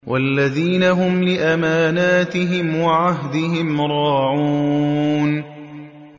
وَالَّذِينَ هُمْ لِأَمَانَاتِهِمْ وَعَهْدِهِمْ رَاعُونَ